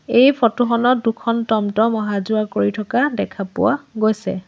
এই ফটো খনত দুখন টমটম অহা যোৱা কৰি থকা দেখা পোৱা গৈছে।